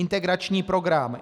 Integrační program.